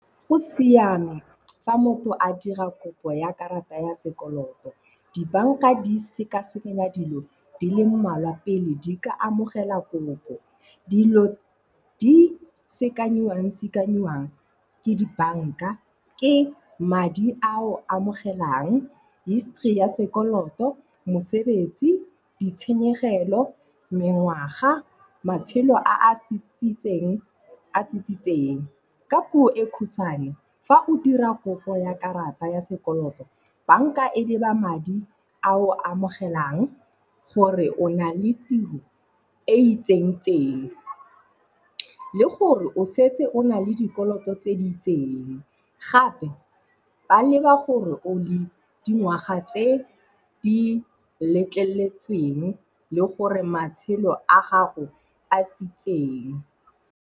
Go siame fa motho a dira kopo ya karata ya sekoloto. Dibanka di sekasekanya dilo di le mmalwa pele di ka amogela kopo. Dilo di sekanyiwang-sekanyiwang ke dibanka, ke madi a o a amogelang, history ya sekoloto, mosebetsi, ditshenyegelo, mengwaga, matshelo a a tsitsitseng. Ka puo e khutshwane fa o dira kopo ya karata ya sekoloto, banka e leba madi a o a amogelang, gore o na le tiro e itseng-tseng le gore o setse o na le dikoloto tse di itseng. Gape ba leba gore o dingwaga tse di letleletsweng le gore matshelo a gago a tsitseng.